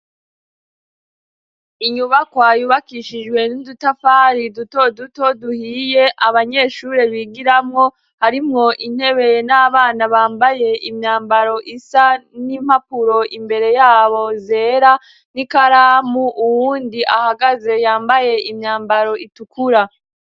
Inyubakwa yubakishijwe n'udutafari duto duto duhiye abanyeshure bigiramwo harimwo intebe n'abana bambaye imyambaro isa n'impapuro imbere yabo zera n'ikaramu uwundi ahagaze yambaye imyambaro itukura.